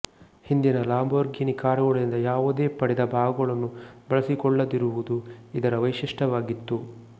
ಹಿಂದಿನ ಲಂಬೋರ್ಘಿನಿ ಕಾರುಗಳಿಂದ ಯಾವುದೇ ಪಡೆದ ಭಾಗಗಳನ್ನು ಬಳಸಿಕೊಳ್ಳದಿರುವುದು ಇದರ ವೈಶಿಷ್ಟ್ಯವಾಗಿತ್ತು